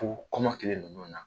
Ko kɔmɔ kelen ninnu na